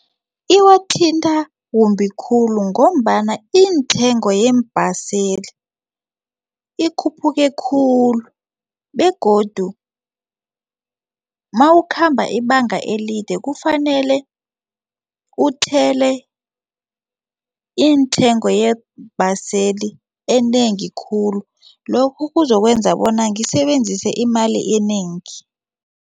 Iwathinta kumbi khulu ngombana intengo yeembaseli ikhuphuke khulu begodu nawukhamba ibanga elide kufanele uthele intengo yeembaseli enengi khulu lokhu kuzokwenza bona ngisebenzise imali enengi.